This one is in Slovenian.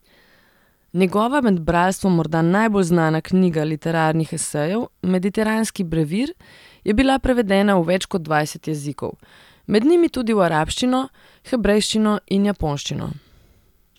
Njegova med bralstvom morda najbolj znana knjiga literarnih esejev Mediteranski brevir je bila prevedena v več kot dvajset jezikov, med njimi tudi v arabščino, hebrejščino in japonščino.